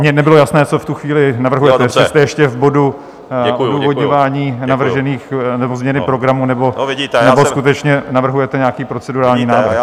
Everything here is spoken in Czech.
Mně nebylo jasné, co v tu chvíli navrhujete, jestli jste ještě v bodu odůvodňování navržených, nebo změny programu, nebo skutečně navrhujete nějaký procedurální návrh.